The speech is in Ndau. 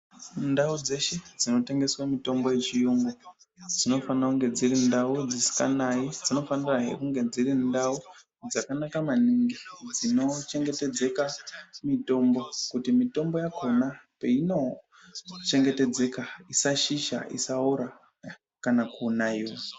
Ndau dzeshe dzinotengeswa mitombo yechiyungu dzinofanira kunge dziri ndau dzisikanayi ,dzinofanirahe kunga dziri ndau dzakanaka maningi dzinochengetedzeka mitombo kuti mitombo yakhona peinochengetedzeka isashisha, isaora kana kunaiwa.